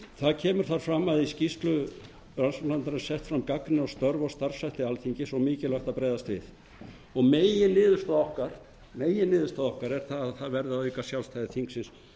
það kemur þar fram að í skýrslu rannsóknarnefndar alþingis er sett fram gagnrýni á störf og starfshætti alþingis og mikilvægt að bregðast við meginniðurstaða okkar er sú að það verði að auka sjálfstæði þingsins